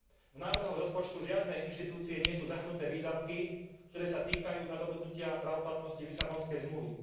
V návrhoch rozpočtu žiadnej inštitúcie nie sú zahrnuté výdavky, ktoré sa týkajú nadobudnutia právoplatnosti Lisabonskej zmluvy.